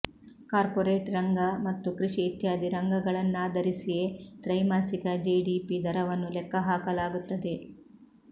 corporate ರಂಗ ಮತ್ತು ಕೃಷಿ ಇತ್ಯಾದಿ ರಂಗಗಳನ್ನಾಧರಿಸಿಯೇ ತ್ರೈಮಾಸಿಕ ಜಿಡಿಪಿ ದರವನ್ನು ಲೆಕ್ಕ ಹಾಕಲಾಗುತ್ತದೆ